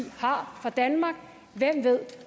har for danmark hvem ved